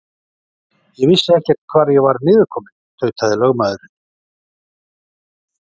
Ég vissi ekkert hvar ég var niðurkominn, tautaði lögmaðurinn.